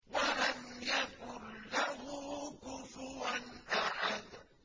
وَلَمْ يَكُن لَّهُ كُفُوًا أَحَدٌ